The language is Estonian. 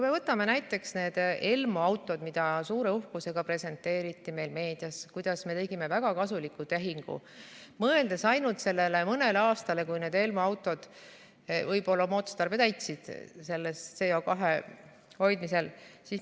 Võtame näiteks need ELMO autod, mida suure uhkusega presenteeriti meil meedias, kuidas me tegime väga kasuliku tehingu, mõeldes ainult sellele mõnele aastale, kui need ELMO autod võib-olla oma otstarbe CO2 puhul täitsid.